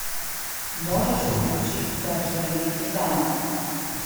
можешь включить вторжение титанов